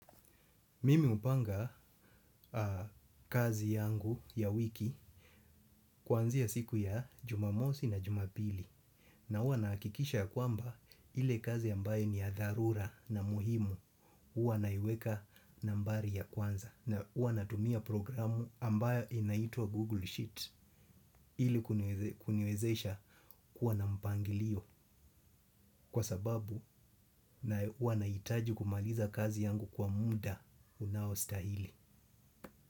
Mimi hupanga kazi yangu ya wiki kwanzia ya siku ya jumamosi na jumapili. Na huwa nahakikisha ya kwamba ile kazi ambaye ni ya dharura na muhimu huwa naiweka nambari ya kwanza. Na huwa natumia programu ambaye inaitwa Google Sheet ili kuniwezesha kuwa na mpangilio kwa sababu na huwa nahitaji kumaliza kazi yangu kwa muda unaostahili.